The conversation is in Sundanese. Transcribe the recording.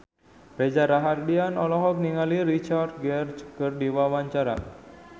Reza Rahardian olohok ningali Richard Gere keur diwawancara